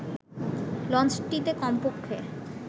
লঞ্চটিতে কমপক্ষে